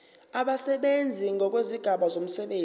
abasebenzi ngokwezigaba zomsebenzi